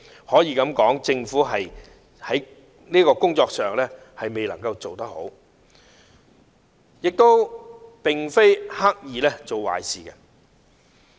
可以說政府未有做好這項工作，但也並非刻意做壞事。